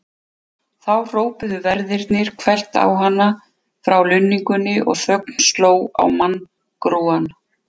Þá hrópuðu verðirnir hvellt á hana frá lunningunni og þögn sló á manngrúann.